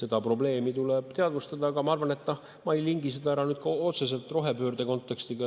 Seda probleemi tuleb teadvustada, aga ma arvan, et ma ei lingi seda ära otseselt rohepöörde kontekstiga.